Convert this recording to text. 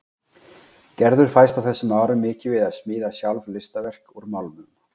Gerður fæst á þessum árum mikið við að smíða sjálf listaverk úr málmum.